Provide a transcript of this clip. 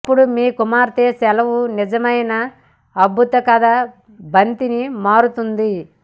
అప్పుడు మీ కుమార్తె సెలవు నిజమైన అద్భుత కథ బంతిని మారుతుంది